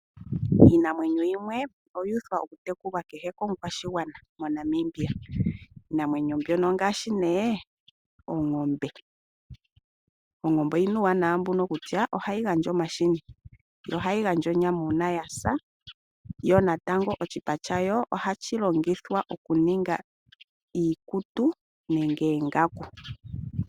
Iinamwenyo yimwe oyuuthwa okutekulwa kukehe omukwashigwana moNamibia niinamwenyo mbika ongaashi oongombe. Oongombe odhina uuwanawa mbuka kutya ohadhi gandja omahini, nonyama uuna yadhipagwa niipa yoongombe oha yi ningithwa iikutu nenge oongaku.